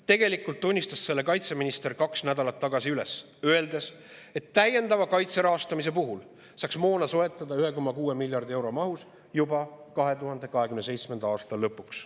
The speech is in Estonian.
Kaitseminister tunnistas selle kaks nädalat tagasi üles, öeldes, et täiendava kaitse rahastamise puhul saaks moona soetada 1,6 miljardi euro eest tegelikult juba 2027. aasta lõpuks.